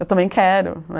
Eu também quero, né?